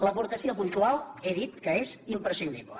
l’aportació puntual he dit que és imprescindible